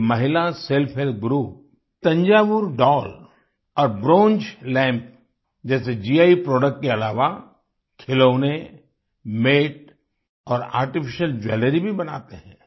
ये महिला self help group Tanjore doll और ब्रोंज लैम्प जैसे गी प्रोडक्ट के अलावा खिलौने मैट और आर्टिफिशियल ज्वेलरी भी बनाते हैं